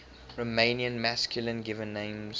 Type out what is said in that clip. romanian masculine given names